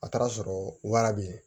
A taara sɔrɔ wara be ye